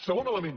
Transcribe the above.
segon element